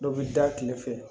Dɔ bi da kile fɛ